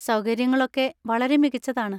സൗകര്യങ്ങളൊക്കെ വളരെ മികച്ചതാണ്.